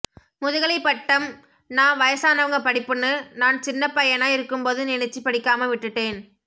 முதுகலைப்பட்டம்்னா வயசானவங்க படிப்புன்னு நான் சின்னப்பையனா இருக்கும்போது நினைச்சு படிக்காம விட்டுட்டேன்